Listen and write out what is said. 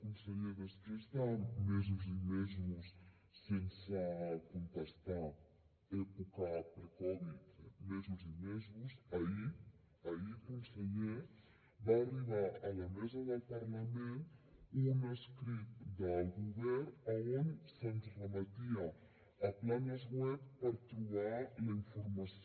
conseller després de mesos i mesos sense contestar època pre covid mesos i mesos ahir ahir conseller va arribar a la mesa del parlament un escrit del govern on se’ns remetia a planes web per trobar la informació